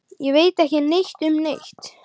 Ég. ég veit ekki neitt um neitt.